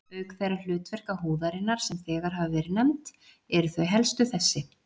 Auk þeirra hlutverka húðarinnar, sem þegar hafa verið nefnd, eru þau helstu þessi